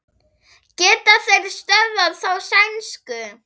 Geta þeir stöðvað þá sænsku?